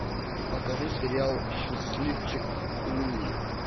покажи сериал счастливчик луи